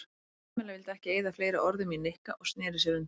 Kamilla vildi ekki eyða fleiri orðum í Nikka og snéri sér undan.